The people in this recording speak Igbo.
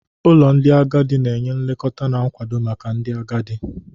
Ụlọ ndị agadi na-enye nlekọta na nkwado maka ndị agadi.